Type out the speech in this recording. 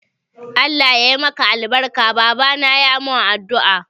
Allah ya yi maka albarka, babana ya mun addu'a.